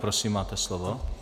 Prosím, máte slovo.